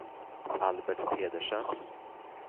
Albert Pedersen